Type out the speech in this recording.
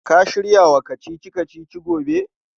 Ka shirya wa kacici-kacicin gobe?